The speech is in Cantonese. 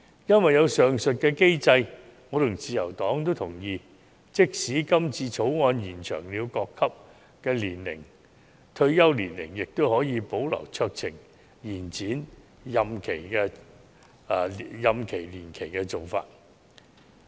有了上述機制，我和自由黨都同意，即使《條例草案》延展各級別法官和司法人員的退休年齡，也可以保留酌情延展任期的做法。